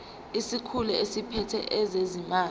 isikhulu esiphethe ezezimali